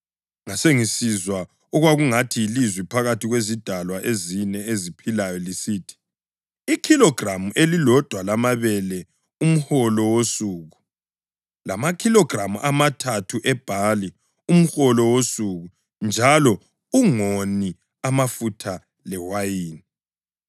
Ngasengisizwa okwakungathi yilizwi phakathi kwezidalwa ezine eziphilayo lisithi, “Ikhilogramu elilodwa lamabele umholo wosuku, lamakhilogramu amathathu ebhali umholo wosuku njalo ungoni amafutha lewayini!”